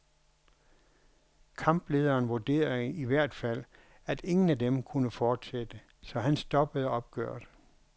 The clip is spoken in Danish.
Kamplederen vurderede i hvert fald, at ingen af dem kunne fortsætte, så han stoppede opgøret.